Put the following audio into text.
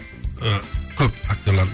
ііі көп актерлар